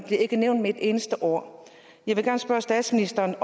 ikke nævnt med et eneste ord jeg vil gerne spørge statsministeren